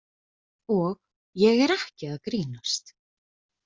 Og ég er ekki að grínast.